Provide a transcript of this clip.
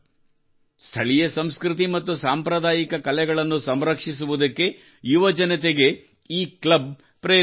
ಸ್ಥಳೀಯ ಸಂಸ್ಕೃತಿ ಮತ್ತು ಸಾಂಪ್ರದಾಯಿಕ ಕಲೆಗಳನ್ನು ಸಂರಕ್ಷಿಸುವುದಕ್ಕೆ ಯುವಜನತೆಗೆ ಈ ಕ್ಲಬ್ ಪ್ರೇರೇಪಿಸುತ್ತದೆ